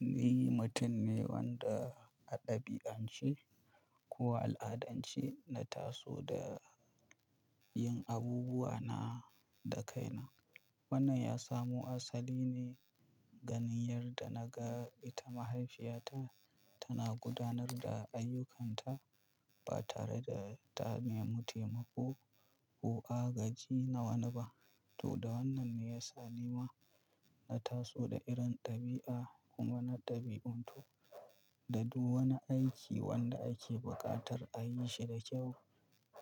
Ni mutum ne wanda a ɗabi'ance ko a al'adance na taso da yin abubuwa na da kaina. Wannan ya samu asali ne ganin yadda na ga ita mahaifiyata tana gudanar da ayyukanta ba tare da ta nemi taimako ko agaji na wani ba. Toh da wannan ne ya sa ni ma na taso da irin ɗabi'a kuma na ɗabi'antu. Da duk wani aiki wanda ake buƙatar a yi shi da kyau,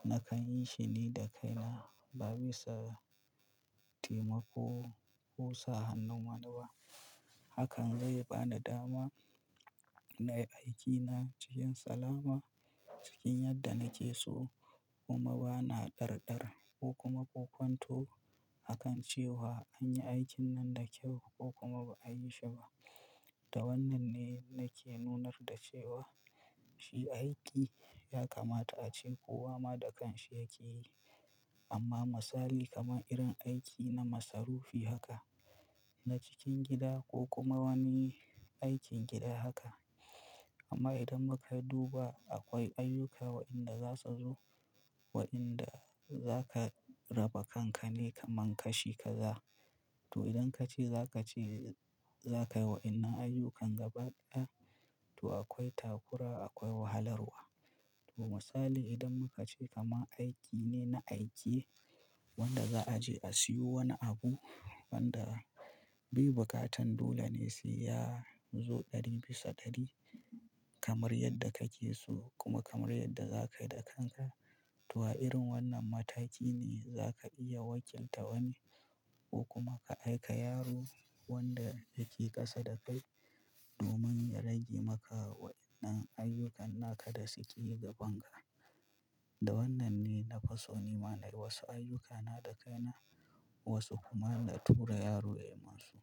nakan yi shi ni da kaina ba bisa taimako ko sa hannun wani ba. Hakan zai bani dama na yi aikina cikin salama cikin yadda nake so kuma bana ɗar-ɗar ko kuma bokwanto a kan cewa an yi aikin nan da kyau ko kuma ba a yi shi ba. Da wannan ne nake nunar da cewa shi aiki ya kamata a ce kowa ma da kanshi yake yi. Amma misali kamar irin aiki na masarufi haka, na cikin gida ko kuma wani aikin gida haka. Amma idan muka duba akwai ayyuka wadanda za su zo waɗanda za ka raba kanka ne kamar kashi kaza. Toh idan ka ce za ka ce, za ka yi waɗannan ayyukan gaba ɗaya, to akwai takura, akwai wahalarwa. To misali idan muka ce kamar aiki ne na aikiye wanda za a je a siyo wani abu wanda bai buƙatan dole ne sai ya zo ɗari bisa ɗari kamar yadda kake so kuma kamar yadda za ka yi da kanka. To a irin wannan mataki ne za ka iya wakilta wani ko kuma ka aika yaro wanda yake ƙasa da kai domin ya rage maka waɗannan ayyukan na ka da su ƙe yi gaban ka. Da wannan ne na fiso ni ma na yi wasu ayyukana da kaina, wasu kuma na tura yaro ya yi masu.